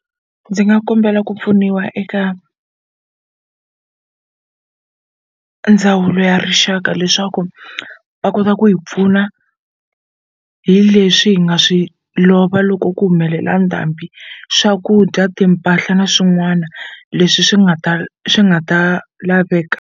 Ndzi nga kombela ku pfuniwa eka ndzawulo ya rixaka leswaku va kota ku hi pfuna hileswi hi nga swi lova loko ku humelela ndhambi swakudya timpahla na swin'wana leswi swi nga ta swi nga ta laveka.